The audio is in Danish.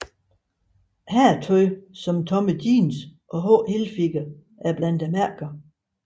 Herretøj som Tommy Jeans og H Hilfiger er blandt mærkerne